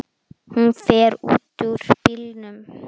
Hún fer út úr bílnum.